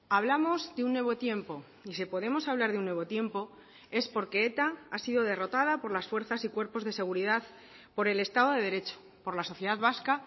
hablamos de un nuevo tiempo y si podemos hablar de un nuevo tiempo es porque eta ha sido derrotada por las fuerzas y cuerpos de seguridad por el estado de derecho por la sociedad vasca